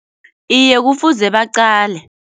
Iye kufuze baqale.